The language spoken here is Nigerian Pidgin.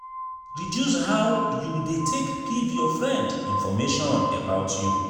reduce how you de take give your friend information about you